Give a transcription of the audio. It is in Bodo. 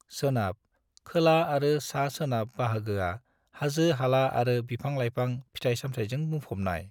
सोनाब, खोला आरो सा-सोनाब बाहागोआ हाजो-हाला आरो बिफां-लाइफां, फिथाइ-सामथाइजों बुंफबनाय।